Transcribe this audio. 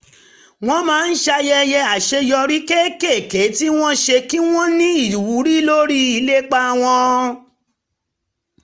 wọ́n máa ń ṣayẹyẹ àṣeyọrí kéékèèké tí wọ́n ṣe kí wọ́n ní ìwúrí lórí ìlépa wọn